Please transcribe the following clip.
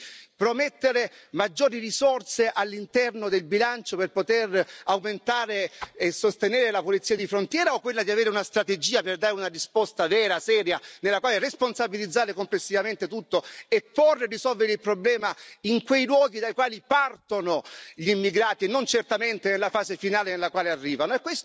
Quella di promettere maggiori risorse all'interno del bilancio per poter aumentare e sostenere la polizia di frontiera o quella di avere una strategia per dare una risposta vera e seria, nella quale responsabilizzare complessivamente tutto e porre e risolvere il problema in quei luoghi dai quali partono gli immigrati, e non certamente nella fase finale nella quale arrivano?